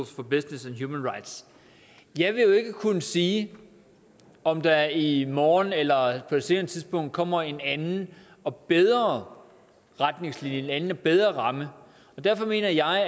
for business and human rights jeg vil jo ikke kunne sige om der i morgen eller på et senere tidspunkt kommer en anden og bedre retningslinje en anden og bedre ramme og derfor mener jeg